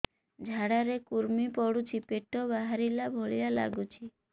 ଝାଡା ରେ କୁର୍ମି ପଡୁଛି ପେଟ ବାହାରିଲା ଭଳିଆ ଲାଗୁଚି